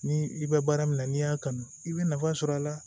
Ni i bɛ baara min na n'i y'a kanu i bɛ nafa sɔrɔ a la